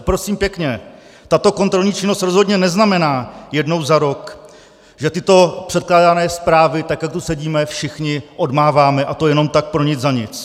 A prosím pěkně, tato kontrolní činnost rozhodně neznamená jednou za rok, že tyto předkládané zprávy, tak jak tu sedíme, všichni odmáváme, a to jenom tak pro nic za nic.